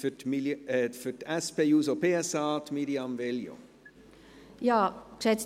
Dann hat Mirjam Veglio für die SP-JUSO-PSA das Wort.